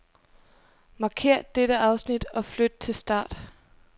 Markér dette afsnit og flyt til start.